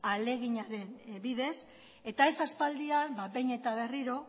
ahaleginaren bidez eta ez aspaldian behin eta berriro